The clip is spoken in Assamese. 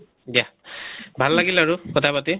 দিয়া ভাল লাগিল আৰু কথা পাতি